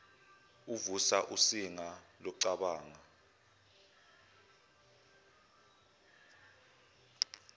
uvusa usinga lokucabanga